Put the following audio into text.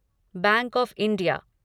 bank of India